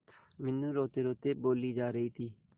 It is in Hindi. मीनू रोतेरोते बोली जा रही थी